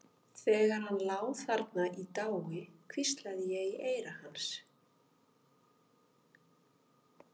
Þegar hann lá þarna í dái hvíslaði ég í eyra hans.